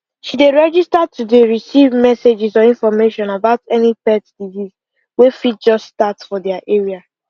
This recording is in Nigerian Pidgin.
she register to dey receive messages or information about any pet disease wey fit just start for their area